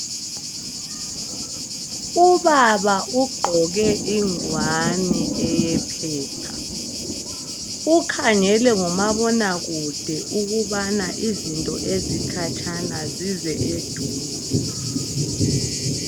Ubaba ugqoke ingwane eyephepha .Ukhangele ngomabonakude ukuba into ezikhatshana zize eduze.